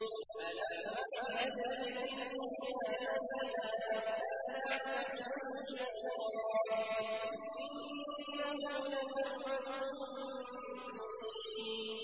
۞ أَلَمْ أَعْهَدْ إِلَيْكُمْ يَا بَنِي آدَمَ أَن لَّا تَعْبُدُوا الشَّيْطَانَ ۖ إِنَّهُ لَكُمْ عَدُوٌّ مُّبِينٌ